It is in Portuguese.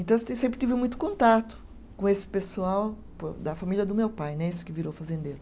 Então, eu sempre tive muito contato com esse pessoal da família do meu pai né, esse que virou fazendeiro.